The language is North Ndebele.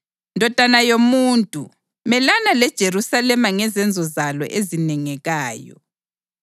“Ndodana yomuntu, melana leJerusalema ngezenzo zalo ezinengayo